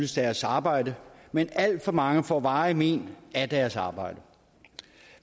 deres arbejde men alt for mange får varige mén af deres arbejde